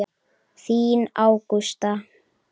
Þín Ágústa.